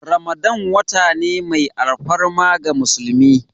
Ramadan wata ne mai alfarma ga musulmi.